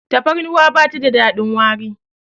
tafarnuwa ba ta da dadin wari